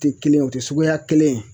Te kelen ye o te suguya kelen ye.